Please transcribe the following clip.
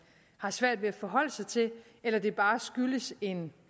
har svært ved at forholde sig til eller det bare skyldes en